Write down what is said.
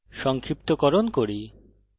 সংক্ষিপ্তকরণ করি